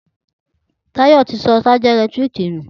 Tayo ti sọ ṣájà ẹ̀lẹ́tíríkì nù